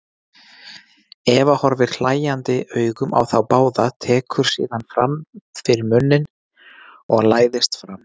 Eva horfir hlæjandi augum á þá báða, tekur síðan fyrir munninn og læðist fram.